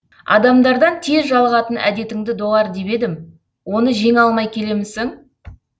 адамдардан тез жалығатын әдетіңді доғар деп едім оны жеңе алмай келемісің